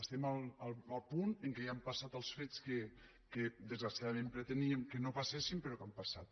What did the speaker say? estem al punt en què ja han passat els fets que desgraciadament preteníem que no passessin però han passat